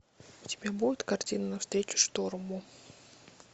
у тебя будет картина навстречу шторму